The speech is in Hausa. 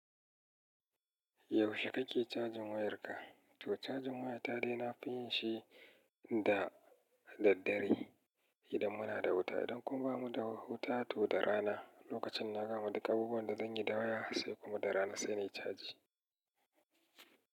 Yaushe kake cajin wayarka? To cajin wayata dai nafi yinshi da daddare idan munada wuta. Idan kuma bamuda wuta toda rana. Lokacinna gama duk abubuwanda zanyi da waya sai kuma da rana sai nayi caji.